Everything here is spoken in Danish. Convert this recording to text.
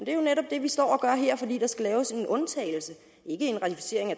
er jo netop det vi står og gør her fordi der skal laves en undtagelse ikke en ratificering af